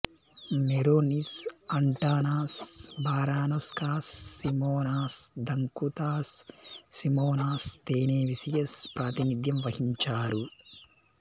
Meronis Antanas Baranauskas Simonas Daukantas Simonas Stanevicius ప్రాతినిధ్యం వహించారు